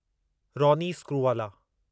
Ronnie Screwvala